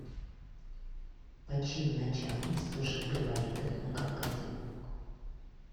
под чьим началом служил грибоедов на кавказе